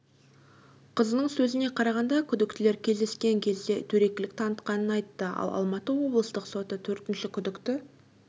қызының сөзіне қарағанда күдіктілер кездескен кезде дөрекілік танытқанын айтты ал алматы облыстық соты төртінші күдікті